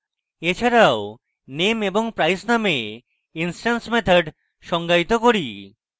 এছাড়াও name এবং price named instance methods সঙ্গায়িত করেছি